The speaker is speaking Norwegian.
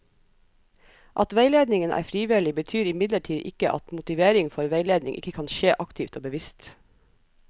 At veiledningen er frivillig, betyr imidlertid ikke at motivering for veiledning ikke kan skje aktivt og bevisst.